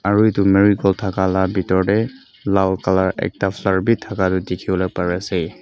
aro etu marigold taka la bitor dae laal colour ekta flower bi taka toh dikipolae pari asae.